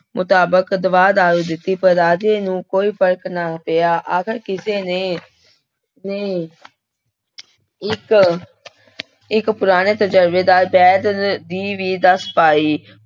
ਮੁਤਾਬਿਕ ਦਵਾ ਦਾਰੂ ਦਿੱਤੀ ਪਰ ਰਾਜੇ ਨੂੰ ਕੋਈ ਫ਼ਰਕ ਨਾ ਪਿਆ ਆਖਿਰ ਕਿਸੇ ਨੇ ਨੇ ਇੱਕ ਇੱਕ ਪੁਰਾਣੇ ਤਜ਼ਰਬੇਦਾਰ ਵੈਦ ਦੀ ਵੀ ਦੱਸ ਪਾਈ।